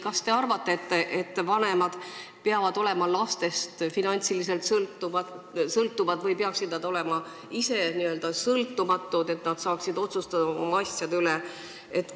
Kas te arvate, et vanemad peavad olema lastest finantsiliselt sõltuvad, või peaksid nad teie arvate olema ise n-ö sõltumatud, et nad saaksid ise oma asjade üle otsustada?